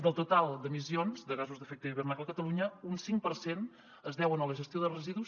del total d’emissions de gasos d’efecte hivernacle a catalunya un cinc per cent es deuen a la gestió de residus